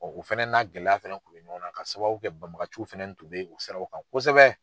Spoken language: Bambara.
O fɛnɛ n'a gɛlɛya fɛnɛ kun bɛ ɲɔgɔn na ka sababu kɛ banbagaciw fɛnɛni tun bɛ o sira in kan kosɛbɛ.